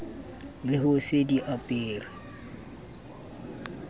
le ho se di apare